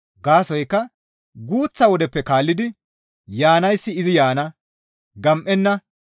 Gaasoykka guuththa wodeppe kaallidi, «Yaanayssi izi yaana; gam7enna;»